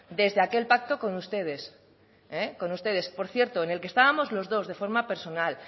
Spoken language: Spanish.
desde aquel pacto con ustedes con ustedes por cierto en el que estábamos los dos de forma personal